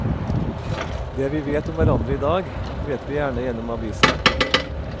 Det vi vet om hverandre i dag, vet vi gjerne gjennom avisene.